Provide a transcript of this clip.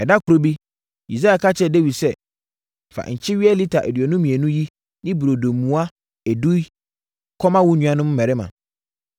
Ɛda koro bi, Yisai ka kyerɛɛ Dawid sɛ, “Fa nkyeweɛ lita aduonu mmienu yi ne burodo mua edu yi kɔma wo nuanom mmarima.